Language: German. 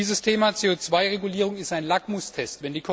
Dieses Thema CO 2 Regulierung ist ein Lackmustest.